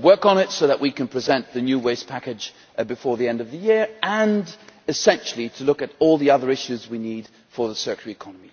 work on it so that we can present the new Waste Package before the end of the year and, essentially, we will look at all the other issues we need for the circular economy.